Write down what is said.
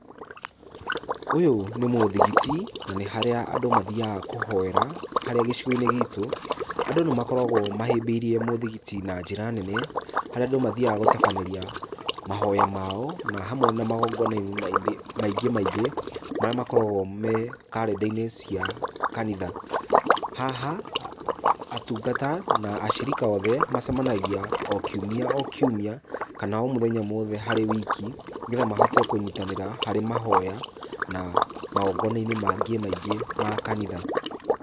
Ũyũ nĩ mũthigiti na nĩ harĩa andũ mathiaga kũhoera, harĩa gĩcigo-inĩ gitũ andũ nĩmakoragwo mahĩmbĩirie mũthigiti na njĩra nene, harĩa andũ mathiaga gũtabanĩria mahoya mao na hamwe na magongona-inĩ maingĩ maingĩ, marĩa makoragwo me karenda-inĩ cia kanitha. Haha, atungata na acirika othe, macemanagia o kiumia o kiumia, kana o mũthenya wothe harĩ wiki, nĩgetha mahote kũnyitanĩra harĩ mahoya na magongona-inĩ mangĩ maingĩ ma kanitha.